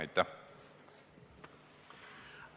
Aitäh!